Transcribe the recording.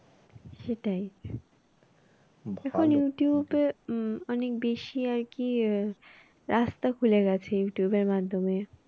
সেটাই আহ এখন ইউটিউব এ অনেক বেশি আর কি আহ রাস্তা খুলে গেছে youtube মাধ্যমে